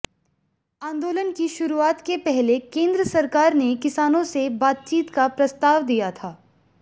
आंदोलन की शुरूआत के पहले केंद्र सरकार ने किसानों से बातचीत का प्रस्ताव दिया था